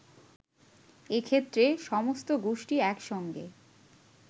এ ক্ষেত্রে সমস্ত গোষ্ঠী একসঙ্গে